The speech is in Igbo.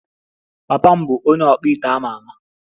Papa m bụ onye ọkpụite a ma ama